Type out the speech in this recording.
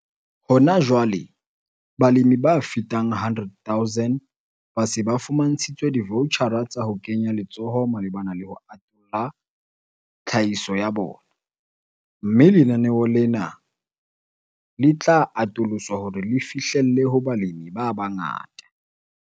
Hona jwale, balemi ba fetang 100 000 ba se ba fumantshitswe divoutjhara tsa ho kenya letsoho malebana le ho atolla tlhahiso ya bona, mme lenaneo lena le tla atoloswa hore le fihlelle ho balemi ba bangata.